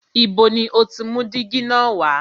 Ibo ni o ti mú dígí na wá?